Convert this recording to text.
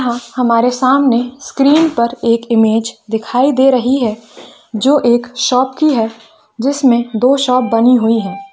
हमारे सामने स्क्रीन पर एक इमेज दिखाई दे रही है जो एक शॉप की है जिसमे दो शॉप बनी हुई है।